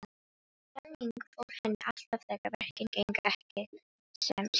Þannig fór henni alltaf þegar verkin gengu ekki sem skyldi.